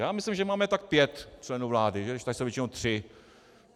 Já myslím, že máme tak pět členů vlády, tady jsou většinou tři.